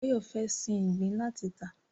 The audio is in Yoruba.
Báyọ̀ fẹ́ sin ìgbín láti tà